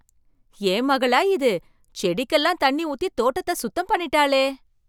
என் மகளா இது, செடிக்கு எல்லாம் தண்ணி ஊத்தி தோட்டத்தை சுத்தம் பண்ணிட்டாளே!